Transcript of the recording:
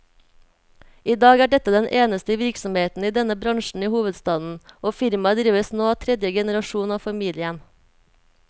I dag er dette den eneste virksomheten i denne bransjen i hovedstaden, og firmaet drives nå av tredje generasjon av familien.